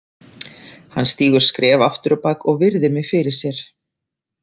Hann stígur skref aftur á bak og virðir mig fyrir sér.